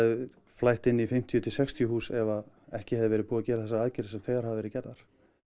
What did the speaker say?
flætt inn í fimmtíu til sextíu hús ef ekki hefðu verið gerðar þessar aðgerðir sem þegar hafa verið gerðar